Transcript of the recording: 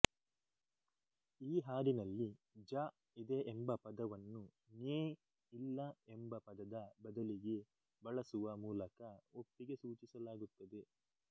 ಈ ಹಾಡಿನಲ್ಲಿ ಜ ಇದೆ ಎಂಬ ಪದವನ್ನು ನ್ಯೇ ಇಲ್ಲ ಎಂಬ ಪದದ ಬದಲಿಗೆ ಬಳಸುವ ಮೂಲಕ ಒಪ್ಪಿಗೆ ಸೂಚಿಸಲಾಗುತ್ತದೆ